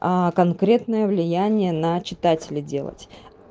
конкретное влияние на читателя делать